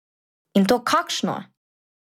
In to kakšno!